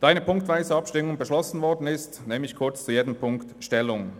Da ziffernweise Abstimmung beschlossen worden ist, nehme ich kurz zu jeder Ziffer Stellung.